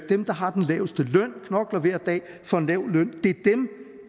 dem der har den laveste løn knokler hver dag for en lav løn